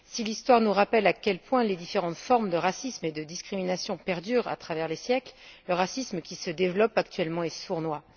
Si l'Histoire nous rappelle à quel point les différentes formes de racisme et de discrimination perdurent à travers les siècles, le racisme qui se développe actuellement est sournois.